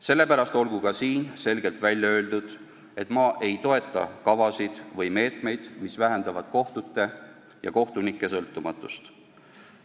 Sellepärast olgu ka siin selgelt välja öeldud, et ma ei toeta kavasid või meetmeid, mis vähendavad kohtute ja kohtunike sõltumatust.